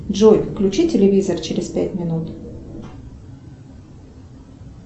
джой включи телевизор через пять минут